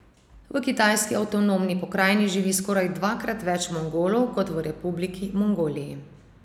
V kitajski avtonomni pokrajini živi skoraj dvakrat več Mongolov kot v republiki Mongoliji.